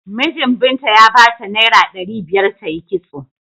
Minjin Binta ya bata naira ɗari biyar ta yi kitso.